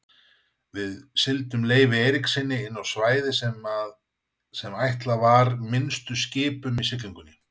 Við sigldum Leifi Eiríkssyni inná svæði sem ætlað var minnstu skipum í siglingunni.